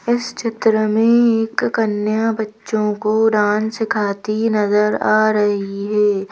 इस चित्र में एक कन्या बच्चों को डांस सिखाती नजर आ रही है।